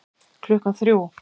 Klukkan þrjú